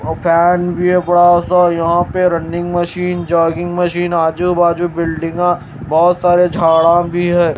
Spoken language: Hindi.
फैन भी है बड़ा सा यहां पे रनिंग मशीन जॉगिंग मशीन आजू-बाजू बिल्डिंगा बहुत सारे झाड़ा भी है।